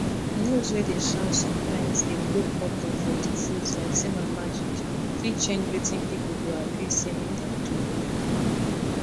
news wey dey shout sometimes dey blow problem for disease like say na magic fit change wetin people go agree say make dem do